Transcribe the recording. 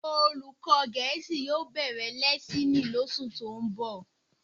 Olùkọ́ Gẹ̀ẹ́sì yóò bẹ̀rẹ̀ lẹ́ẹ́sìnì lóṣù tó ń bọ̀